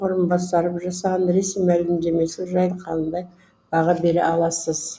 талғат мұсабаев қр парламенті сенатының депутаты сіз ресей федерациясы іім орынбасары жасаған ресми мәлімдемесі жайлы қандай баға бере аласыз